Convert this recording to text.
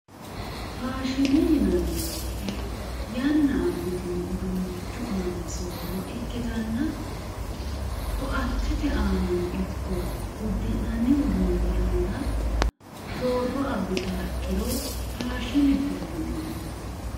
faashine yinanni woyiite yanna abitino uduunichi aani sooro ikkitanna ko"attete aanano ikko uddi'nanni uduuni aana sooro abitayo ikkiro faashinete yineemmo